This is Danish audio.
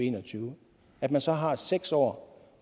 en og tyve at man så har seks år